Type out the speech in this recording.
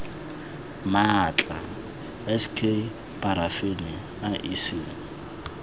maatla s k parafini iec